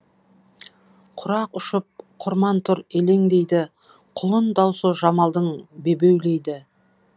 құрақ ұшып құрман тұр елеңдейді құлын даусы жамалдың бебеулейді